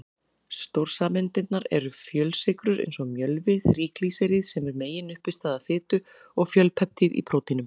Stórsameindirnar eru fjölsykrur eins og mjölvi, þríglýseríð sem eru meginuppistaða fitu, og fjölpeptíð í prótínum.